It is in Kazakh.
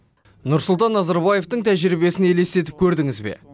нұрсұлтан назарбаевтың тәжірибесін елестетіп көрдіңіз бе